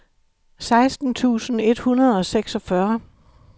seksten tusind et hundrede og seksogfyrre